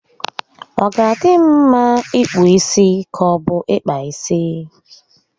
Ọ ga adị m mma ịkpụ isi ka obu ịkpa isi?